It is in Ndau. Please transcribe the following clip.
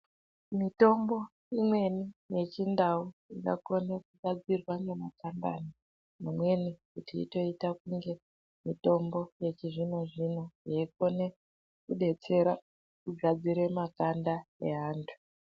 Mitombo imweni ye chindau inga kone kugadzirwa nge mashakani ma mweni kuti itoita kunge mitombo yechi zvino zvino yei kone kudetsera kugadzire makanda e antu.